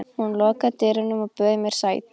Hún lokaði dyrunum og bauð mér sæti.